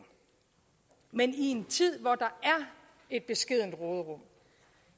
men i en tid hvor der er et beskedent råderum